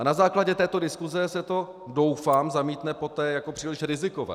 A na základě této diskuse se to, doufám, zamítne poté jako příliš rizikové.